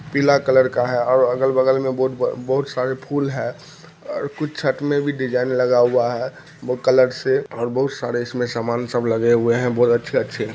पीला कलर का हैं और अ अगल-बगल में बहु-बहुत सारे फूल हैं और कुछ छत में भी डिज़ाइन लगा हुआ है बहुत कलर से और बहुत सारे समान सब इसमे लगे हुए हैं बहुत अच्छे-अच्छे --